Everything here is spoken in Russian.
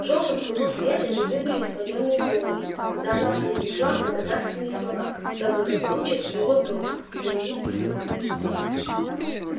в жёлтом кругу света видны были склонённые головы когда она произнесла благодарственные слова за благополучие своего дома семьи слуг